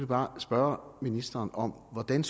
bare spørge ministeren om hvordan